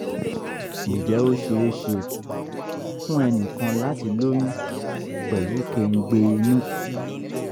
ǹjẹ́ ó ṣeé ṣe fún ẹnì kan láti lóyún pelu kengbe inu?